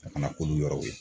A kana k'olu yɔrɔw ye